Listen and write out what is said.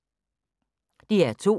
DR2